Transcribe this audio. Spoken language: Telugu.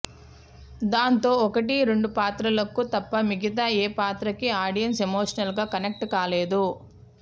దాంతో ఒకటి రెండు పాత్రలకు తప్ప మిగతా ఏ పాత్రకి ఆడియన్స్ ఎమోషనల్ గా కనెక్ట్ కాలేదు